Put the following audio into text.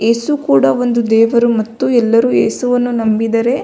ಏಸು ಕೂಡ ಒಂದು ದೇವರು ಮತ್ತು ಎಲ್ಲರು ಎಸುವನ್ನು ನಂಬಿದರೆ.